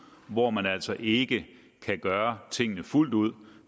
hvor man altså ikke kan gøre tingene fuldt ud